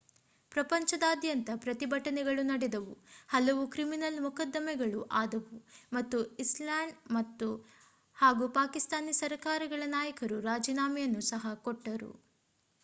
ಪ್ರಪಂಚದಾದ್ಯಂತ ಪ್ರತಿಭಟನೆಗಳು ನಡೆದವು ಹಲವು ಕ್ರಿಮಿನಲ್ ಮೊಕದ್ದಮೆಗಳು ಆದವು ಮತ್ತು ಐಸ್ಲ್ಯಾಂಡ್ ಹಾಗೂ ಪಾಕಿಸ್ತಾನಿ ಸರ್ಕಾರಗಳ ನಾಯಕರು ರಾಜೀನಾಮೆಯನ್ನು ಸಹ ಕೊಟ್ಟರು